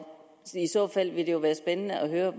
i så fald ville det jo være spændende at høre